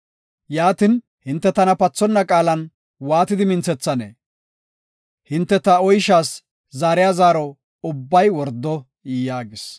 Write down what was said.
Yaatin, hinte tana pathonna qaalan waati minthethanee? Hinte ta oyshaas zaariya zaaro ubbay wordo” yaagis.